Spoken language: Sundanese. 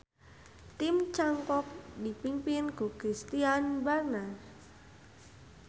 Tim cangkok dipingpin ku Christiaan Barnard.